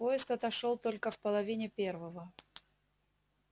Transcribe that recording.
поезд отошёл только в половине первого